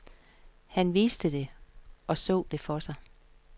Han vidste det, og så det for sig.